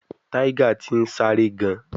Tiger ti n sare gan